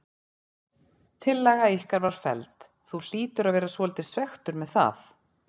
Tillaga ykkar var felld, þú hlýtur að vera svolítið svekktur með það?